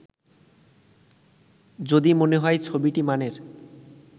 যদি মনে হয় ছবিটি মানের